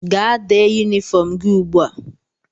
Gaa dee yunifọm gị ugbu a!